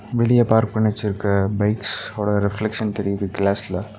வெளிய பார்க் பண்ணி வெச்சுருக்க பைக்ஸ்ஸோட ரிப்லெக்க்ஷன் தெரிது கிளாஸ்ல .